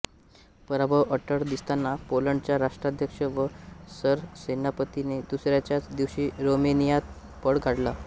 पराभव अटळ दिसताना पोलंडच्या राष्ट्राध्यक्ष व सरसेनापतीने दुसऱ्याच दिवशी रोमेनियात पळ काढला